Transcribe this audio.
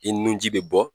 I nun ji bɛ bɔ